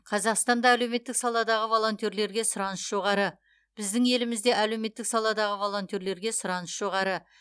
қазақстанда әлеуметтік саладағы волонтерлерге сұраныс жоғары біздің елімізде әлеуметтік саладағы волонтерлерге сұраныс жоғары